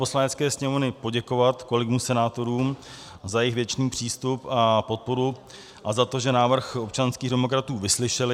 Poslanecké sněmovny poděkovat kolegům senátorům za jejich věcný přístup a podporu a za to, že návrh občanských demokratů vyslyšeli.